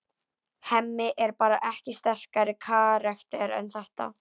Hemmi er bara ekki sterkari karakter en þetta.